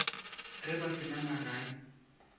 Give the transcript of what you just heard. ge ba se na magae